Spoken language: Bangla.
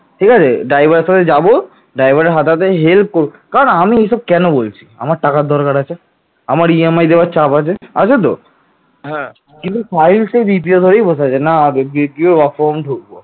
ঠিক আছে driver সাথে যাবো drive এর হাতে হাতে করবো কারন এগুলো কেন বলছি আমার টাকার দরকার আছে আমার ইএম আই দেওয়ার চাপ আছে আছে তো হ্যাঁ কিন্তু সাহিল জেদ ধরে বসে আছে না না ও আমার বন্ধু